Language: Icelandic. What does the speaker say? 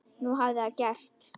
Nú hafði það gerst.